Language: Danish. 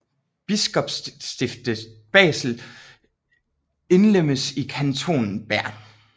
Biskopsstiftet Basel indlemmedes i kantonen Bern